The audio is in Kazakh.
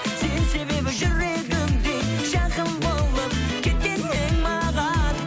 сен себебі жүрегімде жақын болып кеткен едің маған